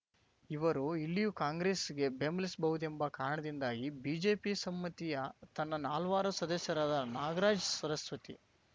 ಇವರು ಇಲ್ಲಿಯೂ ಕಾಂಗ್ರೆಸ್‌ಗೆ ಬೆಂಬಲಿಸಬಹುದೆಂಬ ಕಾರಣದಿಂದಾಗಿ ಬಿಜೆಪಿ ಸಮ್ಮತಿಯ ತನ್ನ ನಾಲ್ವರು ಸದಸ್ಯರಾದ ನಾಗರಾಜ್‌ ಸರಸ್ವತಿ